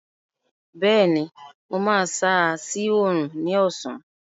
Bẹẹni, mo máa ṣáá sí Òòrùn ní ọ̀sán